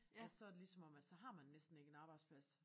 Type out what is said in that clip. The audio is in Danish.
At så er det lige som om at så har man næsten ikke en arbejdsplads